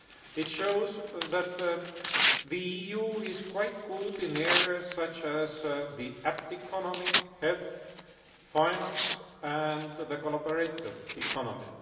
It shows that the EU is quite good in areas such as the app economy, health, finance and the collaborative economy.